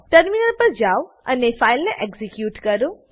terminal પર જાવ અને ફાઈલને એક્ઝીક્યુટ કરો